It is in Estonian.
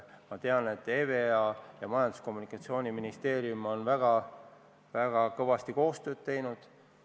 Ma tean, et EVEA ning Majandus- ja Kommunikatsiooniministeerium on väga kõvasti koostööd teinud.